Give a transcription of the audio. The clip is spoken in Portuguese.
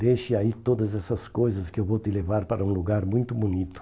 Deixe aí todas essas coisas que eu vou te levar para um lugar muito bonito.